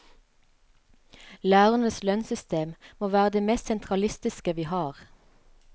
Lærernes lønnssystem må være det mest sentralistiske vi har.